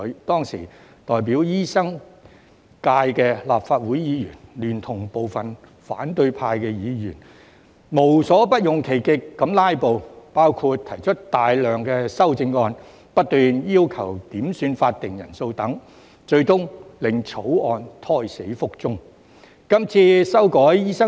當時代表醫生界的立法會議員，聯同部分反對派議員，無所不用其極地"拉布"，包括提出大量修正案，不斷要求點算法定人數等，最終令該條例草案胎死腹中。